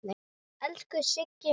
Elsku Siggi minn.